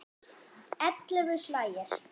Ellefu slagir.